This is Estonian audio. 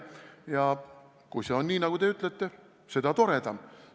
Ja kui see on nii, nagu te ütlete, seda toredam.